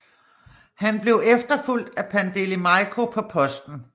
Han blev efterfulgt af Pandeli Majko på posten